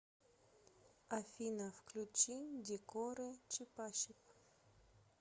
афина включи декоры чипачип